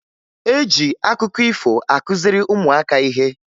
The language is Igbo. E ji akụkọ ifo akụziri ụmụaka ihe